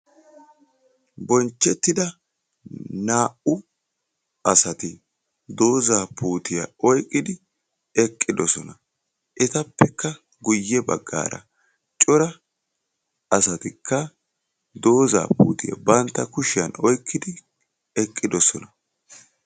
bonchettida naa"u asati doozaa puutiya oyqqidi eqqidosona. Etappekka guyye baggaara cora asatikka doozaa puutiya bantta kushiyan oykkidi eqqidosona.